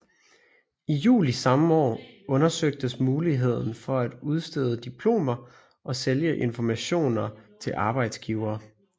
I juli samme år undersøgtes muligheden for at udstede diplomer og sælge informationer til arbejdsgivere